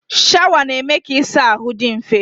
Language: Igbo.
Shawa na-eme ka ịsa ahụ dị mfe.